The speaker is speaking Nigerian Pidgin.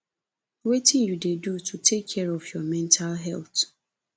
wetin you dey do to take care of your mental health